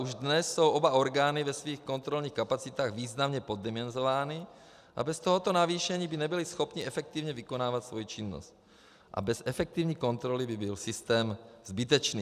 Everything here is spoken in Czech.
Už dnes jsou oba orgány ve svých kontrolních kapacitách významně poddimenzovány a bez tohoto navýšení by nebyly schopny efektivně vykonávat svou činnost a bez efektivní kontroly by byl systém zbytečný.